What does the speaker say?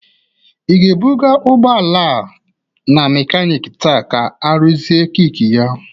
Ị ga-ebụga ụgbọala a na mekanik taa ka arụzie kik ya?